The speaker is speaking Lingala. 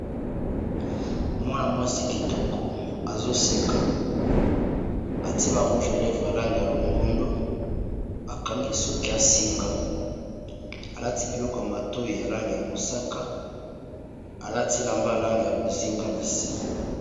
Mwana-mwasi kitoko azoseka atie ba rouge lèvre ya langi ya longondo bakangi ye suki ya singa alati biloko ya matoyi ya langi ya mosaka alati elamba ya langi ya bozinga na se.